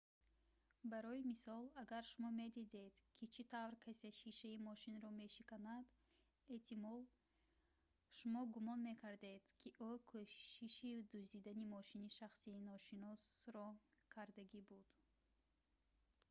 барои мисол агар шумо медидед ки чӣ тавр касе шишаи мошинро мешиканад эҳтимол шумо гумон мекардед ки ӯ кӯшиши дуздидани мошини шахси ношиносро кардагӣ буд